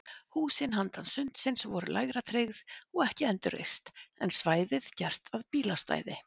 Húsin handan sundsins voru lægra tryggð og ekki endurreist, en svæðið gert að bílastæði.